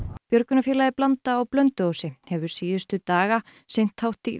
björgunarfélagið Blanda á Blönduósi hefur síðustu daga sinnt hátt í